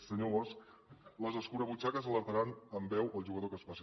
senyor bosch les escurabutxaques alertaran amb veu al jugador que es passi